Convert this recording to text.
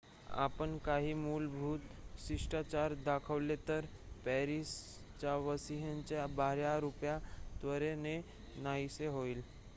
आपण काही मूलभूत शिष्टाचार दाखवले तर पॅरिसवासियांचे बाह्य रुप त्वरेने नाहीसे होईल